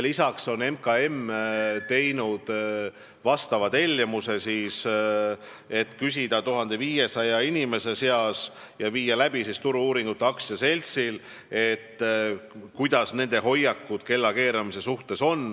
Lisaks on MKM tellinud 1500 inimese seas läbi viidava küsitluse Turu-uuringute AS-ilt, et teada saada rahva hoiakud kellakeeramise suhtes.